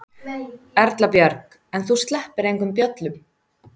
Erla Björg: En þú sleppir engum böllum?